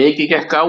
Mikið gekk á